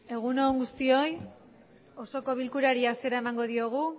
egun on guztioi osoko bilkurari hasiera emango diogu